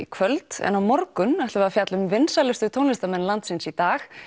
kvöld en á morgun ætlum við að fjalla um vinsælustu tónlistarmenn landsins í dag